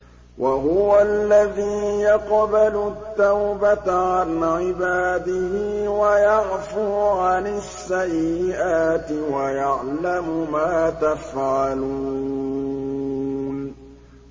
وَهُوَ الَّذِي يَقْبَلُ التَّوْبَةَ عَنْ عِبَادِهِ وَيَعْفُو عَنِ السَّيِّئَاتِ وَيَعْلَمُ مَا تَفْعَلُونَ